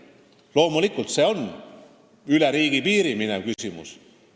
Loomulikult, see on riigipiire ületav küsimus.